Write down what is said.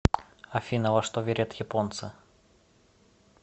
афина во что верят японцы